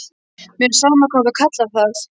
Mér er sama hvað þú kallar það.